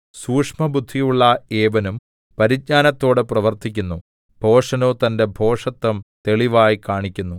സൂക്ഷ്മബുദ്ധിയുള്ള ഏവനും പരിജ്ഞാനത്തോടെ പ്രവർത്തിക്കുന്നു ഭോഷനോ തന്റെ ഭോഷത്തം തെളിവായി കാണിക്കുന്നു